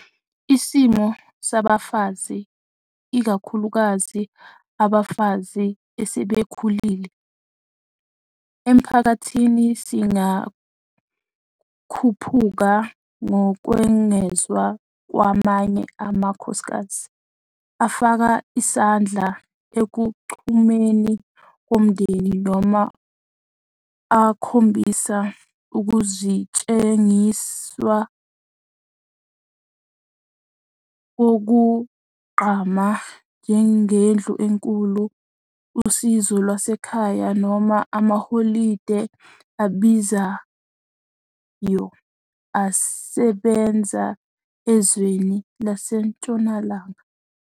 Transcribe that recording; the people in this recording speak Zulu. Isimo sabafazi ', ikakhulukazi abafazi asebekhulile', emphakathini singakhuphuka ngokwengezwa kwamanye amakhosikazi, afaka isandla ekuchumeni komndeni noma akhombisa ukusetshenziswa okugqamile, njengendlu enkulu, usizo lwasekhaya, noma amaholide abizayo asebenza ezweni lasentshonalanga.